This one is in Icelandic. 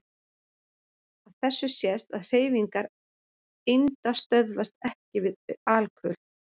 Af þessu sést að hreyfingar einda stöðvast EKKI við alkul.